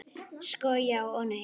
Sko, já og nei.